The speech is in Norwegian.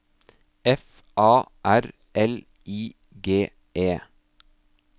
F A R L I G E